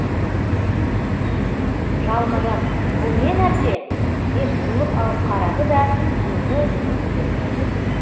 жалма жан бұл не нәрсе деп жұлып алып қарады да өңі бұзылып кетті